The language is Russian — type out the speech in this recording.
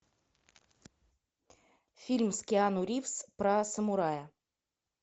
фильм с киану ривз про самурая